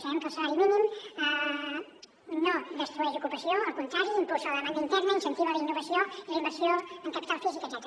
sabem que el salari mínim no destrueix ocupació al contrari impulsa la demanda interna incentiva la innovació i la inversió en capital físic etcètera